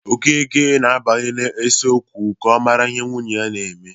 Okeke na-abanye n'usekwu ka ọ mara ihe nwunye na-eme.